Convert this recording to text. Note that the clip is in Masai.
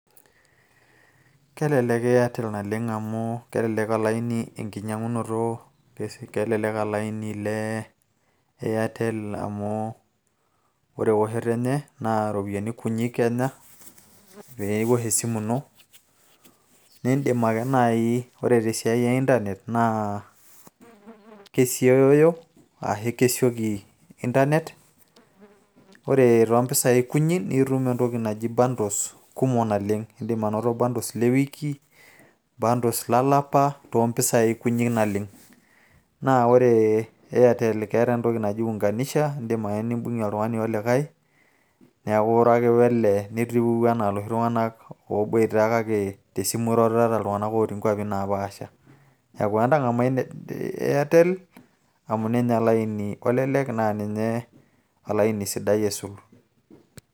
kelelek airtel oleng amu ore olaini kelelek enkinyiang'unoto, kelelek olaini le airtel amu, ore eoshoto enye naa iropiyiani kunyik enya, pee iosh esimu ino, nidim ake naaji ore tesiai e internet naa kesiooyo, ashu kesioki internet ore too mpisai kunyik, nitum entoki naji bundles kumok naleng'.idim anoto bundles le wiki, lolapa too mpisai kumok naleng. naa ore airtle keeta entoki naji unganisha ,neeku iro ake wele, nitiuu anaa iloshi tunganak ooboita. naa entang'amu a airtel amu ninye olaini olelek sidai.